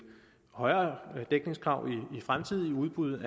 højere dækningskrav i fremtidige udbud